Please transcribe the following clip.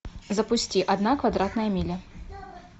запусти одна квадратная миля